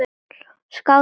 Skál fyrir því!